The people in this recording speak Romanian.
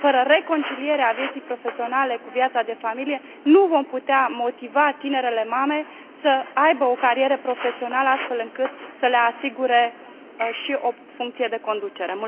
Fără reconcilierea vieții profesionale cu viața de familie, nu vom putea motiva tinerele mame să aibă o carieră profesională, astfel încât să le asigure și o funcție de conducere.